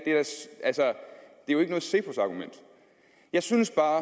jo ikke noget cepos argument jeg synes bare